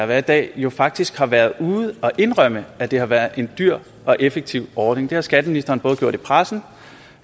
har i dag jo faktisk har været ude og indrømme at det har været en dyr og ineffektiv ordning det har skatteministeren både gjort i pressen